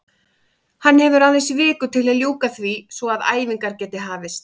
Hann hefur aðeins viku til að ljúka því svo að æfingar geti hafist.